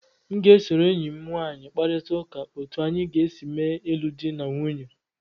M ga-esoro enyi m nwanyị kparịta ụka otu anyị ga-esi mee ịlụ di na nwunye